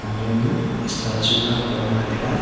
undra ma statue akga ngan taga --